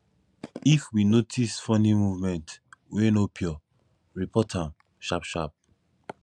if we notice funny movement wey no pure report am sharp sharp